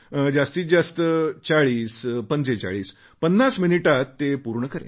जास्तीत जास्त 404550 मिनिटांत मी ते पूर्ण करेन